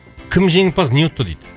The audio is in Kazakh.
кім жеңімпаз не ұтты дейді